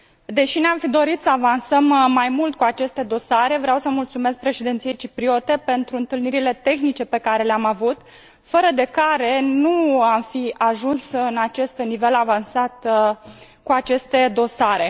Deși ne am fi dorit să avansăm mai mult cu aceste dosare, vreau să mulțumesc Președinției cipriote pentru întâlnirile tehnice pe care le am avut, fără de care nu am fi ajuns în acest nivel avansat cu aceste dosare.